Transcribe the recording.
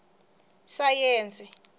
sayense